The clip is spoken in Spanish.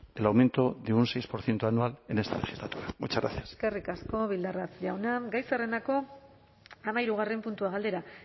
el aumento de un seis por ciento anual en esta legislatura muchas gracias eskerrik asko bildarratz jauna gai zerrendako hamahirugarren puntua galdera